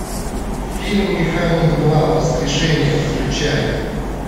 фильм механик два воскрешение включай